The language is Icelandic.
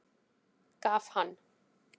Gaf hann